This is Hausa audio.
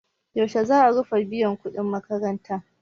Yaushe za a rufe biyan kuɗin makaranta?